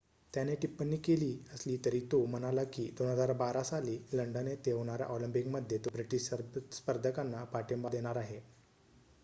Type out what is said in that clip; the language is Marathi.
त्याने टिप्पणी केली असली तरी तो म्हणाला की 2012 साली लंडन येथे होणाऱ्या ऑलिम्पिक मध्ये तो ब्रिटीश स्पर्धकांना पाठींबा देणार आहे